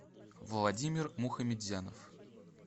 владимир мухаметзянов